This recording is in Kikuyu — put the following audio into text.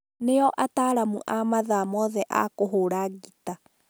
nĩo ataaramu a mathaa mothe a kũhũũra ngita